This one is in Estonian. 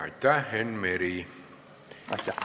Aitäh, Enn Meri!